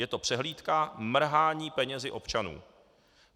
Je to přehlídka mrhání penězi občanů.